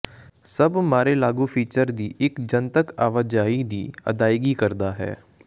ਸਭ ਮਾੜੇ ਲਾਗੂ ਫੀਚਰ ਦੀ ਇਕ ਜਨਤਕ ਆਵਾਜਾਈ ਦੀ ਅਦਾਇਗੀ ਕਰਦਾ ਹੈ